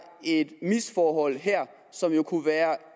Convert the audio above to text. et misforhold her som jo kunne være